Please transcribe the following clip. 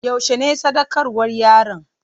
Yaushe ne sadaukarwar yaron?